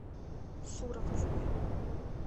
суровцевой